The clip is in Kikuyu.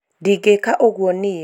ndingĩka ũguo niĩ